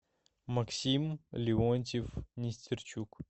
максим леонтьев нестерчук